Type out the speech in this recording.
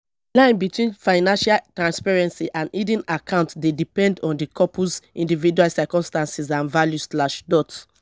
line between financial transparency and hidden accounts dey depend on di couple's individual circumstances and values slash dot